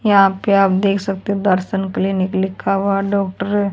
यहां पे आप देख सकते दर्शन के लिए क्लीनिक का हुआ डॉक्टर है।